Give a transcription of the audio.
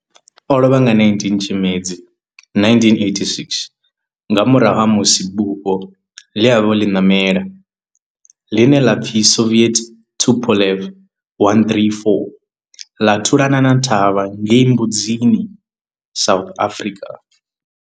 O lovha nga 19 Tshimedzi 1986 nga murahu ha musi bufho ḽe a vha o ḽi ṋamela, ḽine ḽa pfi Soviet Tupolev 134 ḽa thulana na thavha ngei Mbuzini, South Africa.